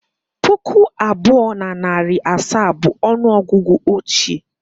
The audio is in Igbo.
Puku abụọ na narị na asaa bụ ọnụ ọgụgụ ochie